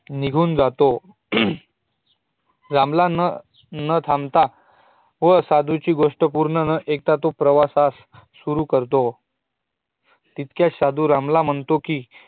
निघून जातो रामला नं थांबता व साधूची गोष्ट पूर्ण नं आइकता तो उत्तर दिशेला प्रवासास सुरु करतो तितक्यात साधू रामला म्हणतो कि